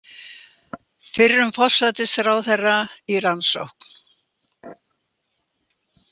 Fyrrum forsætisráðherra í rannsókn